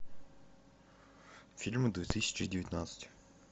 фильмы две тысячи девятнадцать